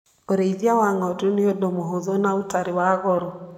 ũrĩithia wa ng'ondu nĩ ũndũ mũhũthũ na ũtarĩ wa goro.